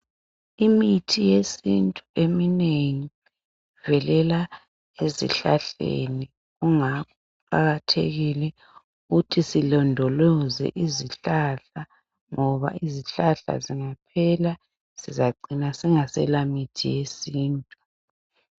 Imithi yesintu eminengi ivelela ezihlahleni kungakho kuqakathekile ukuthi silondoloze izihlahla ngoba izihlahla zingaphela sizacina singasela mithi yesintu.